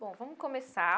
Bom, vamos começar.